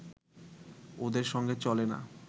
ওদের সঙ্গে চলে না